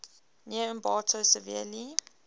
near ambato severely